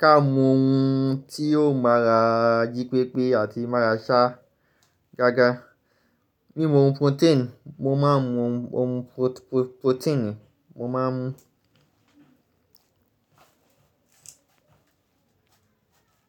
Ká mọ ohun tí yóò máa ra jí pépé àti má ra ṣá gága. Mimu oún purotééni, mo máa ń mu ohun purotééni, mo máa ń mu.